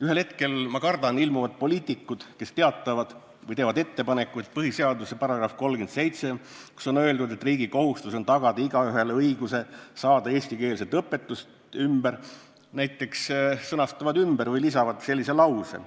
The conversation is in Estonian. Ühel hetkel, ma kardan, ilmuvad välja poliitikud, kes teatavad või teevad ettepaneku, et põhiseaduse § 37, milles on öeldud, et igaühel on õigus saada eestikeelset õpetust, tuleks näiteks ümber sõnastada või täiendada fraasiga